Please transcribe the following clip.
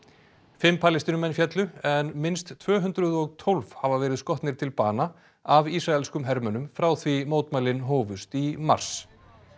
fimm Palestínumenn féllu en minnst tvö hundruð og tólf hafa verið skotnir til bana af ísraelskum hermönnum frá því mótmælin hófust í mars